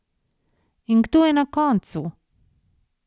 In kdo je na koncu?